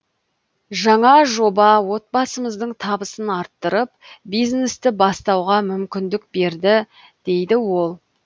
жаңа жоба отбасымыздың табысын арттырып бизнесті бастауға мүмкіндік берді дейді ол